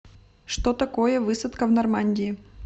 что такое высадка в нормандии